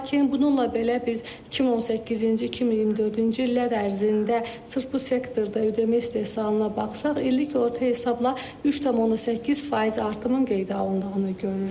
Lakin bununla belə biz 2018-ci, 2024-cü illər ərzində sırf bu sektorda ödəmə istehsalına baxsaq, illik orta hesabla 3,8% artımın qeydə alındığını görürük.